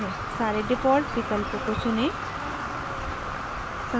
सारे default विकल्पों को चुनें